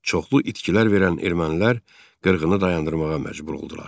Çoxlu itkilər verən ermənilər qırğını dayandırmağa məcbur oldular.